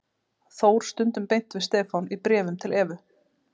Þór stundum beint við Stefán í bréfum til Evu.